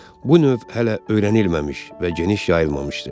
Bu növ hələ öyrənilməmiş və geniş yayılmamışdı.